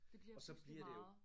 Det bliver pludselig meget